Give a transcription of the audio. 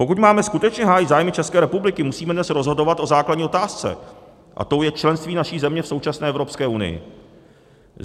Pokud máme skutečně hájit zájmy České republiky, musíme dnes rozhodovat o základní otázce a tou je členství naší země v současné Evropské unii.